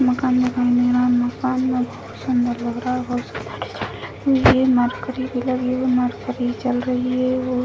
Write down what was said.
मकान दिखाई दे रहा है | मकान बहुत सुन्दर लग रहा है बहुत लग रही है | मरकरी भी लगी हुई मरकरी जल रही है और --